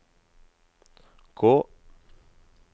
gå